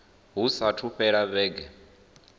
hu saathu u fhela vhege